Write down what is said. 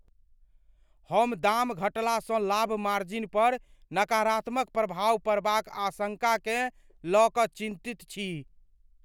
हम दाम घटलासँ लाभ मार्जिन पर नकारात्मक प्रभाव पड़बाक आशंका केँ लय कऽ चिन्तित छी।